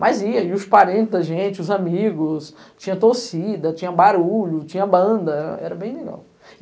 Mas ia, e os parentes da gente, os amigos, tinha torcida, tinha barulho, tinha banda, era bem legal.